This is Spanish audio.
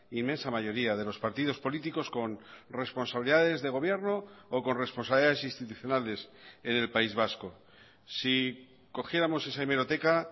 inmensa mayoría de los partidos políticos con responsabilidades de gobierno o con responsabilidades institucionales en el país vasco si cogiéramos esa hemeroteca